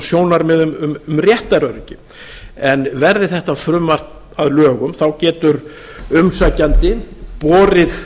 sjónarmiðum um réttaröryggið en verði þetta frumvarp að lögum þá getur umsækjandi borið